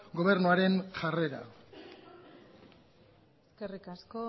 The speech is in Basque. gobernuaren jarrera eskerrik asko